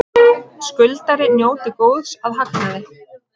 Skuldari njóti góðs af hagnaði